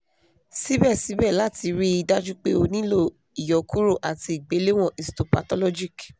síbẹ̀síbẹ̀ láti rí i dájú pé ó nílò ìyọkuro àti ìgbéléwọ̀n histopathologic